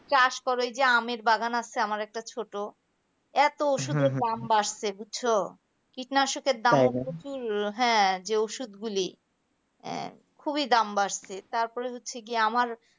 চাষ কর ওই যে আমের বাগান আছে আমার একটা ছোট এত ওষুধের দাম বাড়ছে বুঝছো কীটনাশকের দাম হ্যাঁ যে ঔষধ গুলি খুবই দাম বাড়ছে তার পরে হচ্ছে গিয়ে আমার